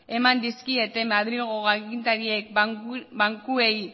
eman dizkiete madrilgo agintariek bankuei